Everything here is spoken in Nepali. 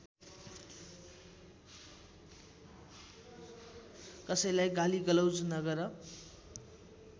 कसैलाई गालीगलौज नगर